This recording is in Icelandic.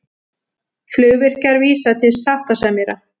Flugvirkjar vísa til sáttasemjara